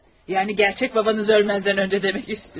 Yəni, gerçək babanız ölməzdən əvvəl demək istəyirəm.